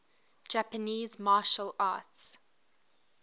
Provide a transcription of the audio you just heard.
japanese martial arts